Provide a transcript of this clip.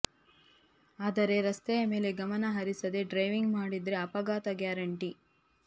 ಆದರೆ ರಸ್ತೆಯ ಮೇಲೆ ಗಮನ ಹರಿಸದೇ ಡ್ರೈವಿಂಗ್ ಮಾಡಿದರೆ ಅಪಘಾತ ಗ್ಯಾರಂಟಿ